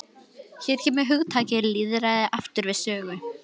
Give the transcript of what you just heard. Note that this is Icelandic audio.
Hér kemur hugtakið lýðræði aftur við sögu.